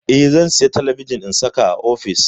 Eh, zan saya talabijin in saka a ofis.